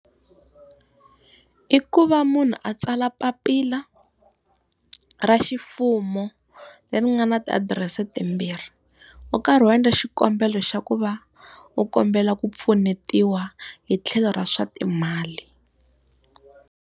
I ku va munhu a tsala papila, ra ximfumo leri nga na ti adirese timbirhi. U karhi u endla xikombelo xa ku va u kombela ku pfunetiwa hi tlhelo ra swa timali.